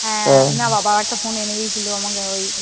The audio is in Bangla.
হ্যাঁ। না বাবা আমাকে একটা phone এনে দিয়েছিল